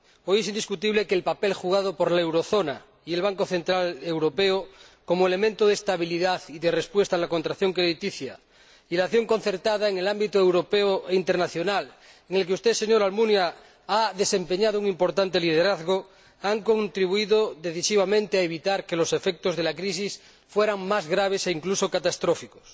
Hoy es indiscutible que el papel jugado por la eurozona y el Banco Central Europeo, como elementos de estabilidad y de respuesta a la contracción crediticia, y la acción concertada en el ámbito europeo e internacional, en el que usted, señor Almunia, ha desempeñado un importante liderazgo, han contribuido decisivamente a evitar que los efectos de la crisis fueran más graves e, incluso, catastróficos.